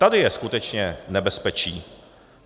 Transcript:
Tady je skutečně nebezpečí.